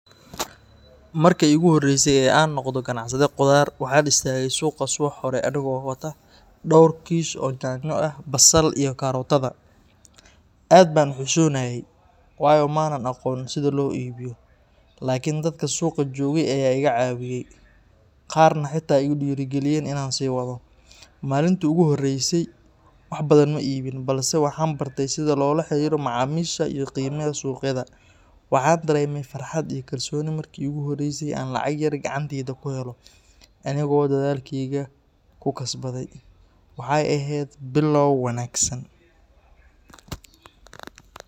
Markii iigu horreysay ee aan noqdo ganacsade khudaar, waxaan istaagay suuqa subax hore anigoo wata dhowr kiish oo yaanyo, basal, iyo karootada. Aad baan u xishoonayey, waayo ma aanan aqoon sida loo iibiyo. Laakiin dadkii suuqa joogay ayaa iga caawiyay, qaarna xitaa iigu dhiirrigeliyeen inaan sii wado. Maalintii ugu horreysay wax badan ma iibin, balse waxaan bartay sida loola xiriiro macaamiisha iyo qiimaha suuqyada. Waxaan dareemay farxad iyo kalsooni markii iigu horreysay aan lacag yar gacantayda ku helo anigoo dadaalkayga ku kasbaday. Waxay ahayd bilow wanaagsan.